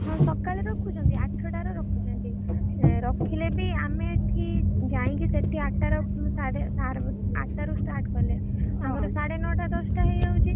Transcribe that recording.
ହଁ ସଖାଳେ ରଖୁଛନ୍ତି, ଆଠଟାରେ ରଖୁଛନ୍ତି। ରଖିଲେବି, ଆମେ ଏଠି ଯାଇକି ସାଡେ ଆଠଟାରେ start କଲେ ସାଢ଼େ ନଟାଦଶଟା ହେଇଯାଉଛି।